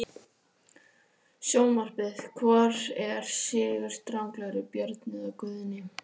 Sjónvarpið: Hvor er sigurstranglegri- Björn eða Guðni?